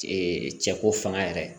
cɛko fanga yɛrɛ